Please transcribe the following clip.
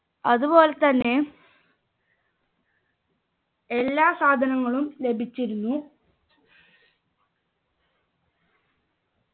അതുപോലെ തന്നെ എല്ലാ സാധനങ്ങളും ലഭിച്ചിരുന്നു